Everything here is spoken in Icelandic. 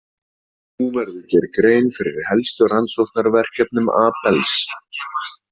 Nú verður gerð grein fyrir helstu rannsóknarverkefnum Abels.